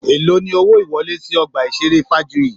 Èló ni owó ìwọlé sì ọgbà ìṣeré Fajuyi?